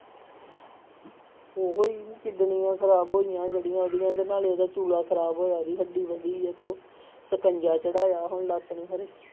ਉਹੀ ਕਿਡਨੀਆਂ ਖ਼ਰਾਬ ਹੋਈਆਂ ਜਿਹੜੀਆਂ ਉਹਦੀਆਂ ਤੇ ਨਾਲੇ ਉਹਦਾ ਚੂਲਾ ਖ਼ਰਾਬ ਹੋਇਆ ਉਹਦੀ ਹੱਡੀ ਵਧੀ ਹੈ ਤੋ ਸਕੰਜਾ ਚੜ੍ਹਾਇਆ ਹੁਣ ਲੱਤ ਨੂੰ ਹਾਲੇ।